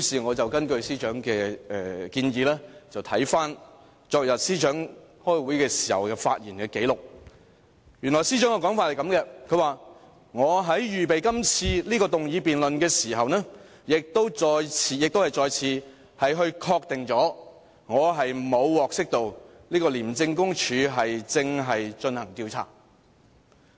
我根據司長的建議，看看昨日司長開會時的發言紀錄，原來司長的說法是這樣的："我在預備這次議案辯論的時候，亦再次確定了我沒有獲悉廉署正進行這項調查。